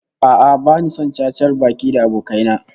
A'a, bani son cacar baki da abokai na